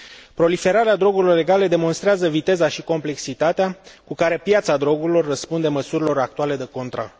Proliferarea drogurilor legale demonstrează viteza și complexitatea cu care piața drogurilor răspunde măsurilor actuale de control.